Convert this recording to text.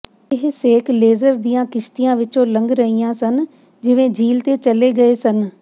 ਇਹ ਸੇਕ ਲੇਜ਼ਰ ਦੀਆਂ ਕਿਸ਼ਤੀਆਂ ਵਿਚੋਂ ਲੰਘ ਰਹੀਆਂ ਸਨ ਜਿਵੇਂ ਝੀਲ ਤੇ ਚਲੇ ਗਏ ਸਨ